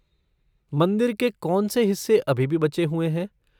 मंदिर के कौनसे हिस्से अभी भी बचे हुए हैं?